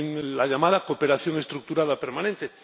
en la llamada cooperación estructurada permanente.